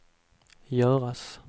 göras